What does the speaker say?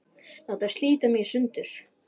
Láta slíta mig í sundur.